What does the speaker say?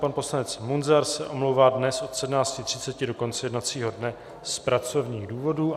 Pan poslanec Munzar se omlouvá dnes od 17.30 do konce jednacího dne z pracovních důvodů.